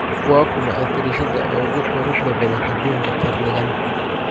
waa kuma atariishada ugu quruxda badan aduunka qarnigan